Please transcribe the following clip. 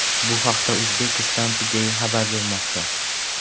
Bu haqda Uzbekistan Today xabar bermoqda .